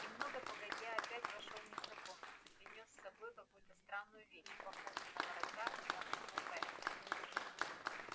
немного погодя опять вошёл незнакомец и принёс с собой какую-то странную вещь похожую на ворота и на букву п